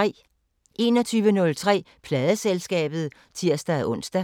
21:03: Pladeselskabet (tir-ons)